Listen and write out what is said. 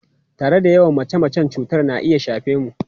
Tare da yawan mace-mace, cutar na iya shafe mu.